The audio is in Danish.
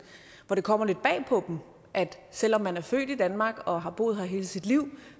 kommer lidt bag på at selv om man er født i danmark og har boet her hele sit liv